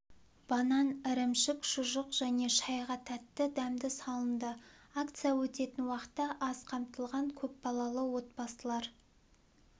банан ірімшік шұжық және шайға тәтті-дәмді салынды акция өтетін уақытта аз қамтылған көп балалы отбасылар